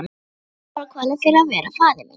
Leið sálarkvalir fyrir að vera faðir minn.